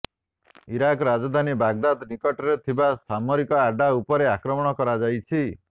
Iraq ରାଜଧାନୀ Baghdad ନିକଟରେ ଥିବା ସାମରିକ ଆଡ୍ଡା ଉପରେ ଆକ୍ରମଣ କରାଯାଇଛି